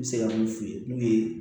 N bɛ se ka mun f'i ye n'u ye